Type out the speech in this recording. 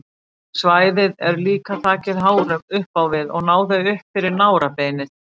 Svæðið er líka þakið hárum upp á við og ná þau upp fyrir nárabeinið.